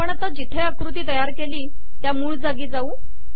आपण जिथे आकृती तयार केली त्या मूळ जागी जाऊ